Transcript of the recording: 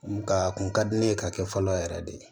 Nka a kun ka di ne ye ka kɛ fɔlɔ yɛrɛ de ye